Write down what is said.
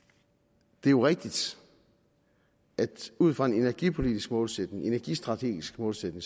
det er jo rigtigt at ud fra en energipolitisk målsætning en energistrategisk målsætning